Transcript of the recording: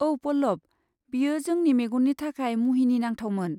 औ पल्लभ, बेयो जोंनि मेगननि थाखाय मुहिनि नांथावमोन।